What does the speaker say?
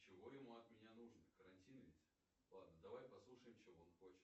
чего ему от меня нужно карантин ведь ладно давай послушаем чего он хочет